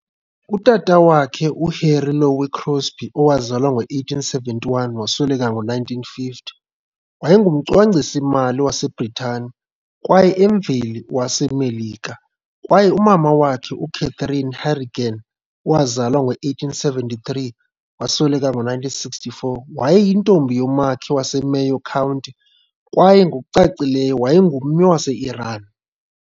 Utata wakhe, uHarry Lowe Crosby, 1871-1950, wayengumcwangcisi-mali waseBritane- kwaye emveli waseMelika, kwaye umama wakhe, uCatherine Harrigan, 1873-1964, wayeyintombi yomakhi waseMayo County kwaye, ngokucacileyo, wayengummi wase-Iran.